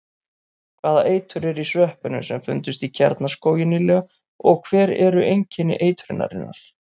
Hvaða eitur er í sveppunum sem fundust í Kjarnaskógi nýlega og hver eru einkenni eitrunarinnar?